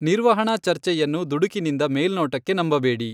ನಿರ್ವಹಣಾ ಚರ್ಚೆಯನ್ನು ದುಡುಕಿನಿಂದ ಮೇಲ್ನೋಟಕ್ಕೆ ನಂಬಬೇಡಿ.